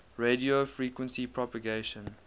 radio frequency propagation